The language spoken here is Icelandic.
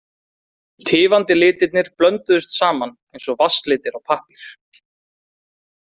Tifandi litirnir blönduðust saman eins og vatnslitir á pappír.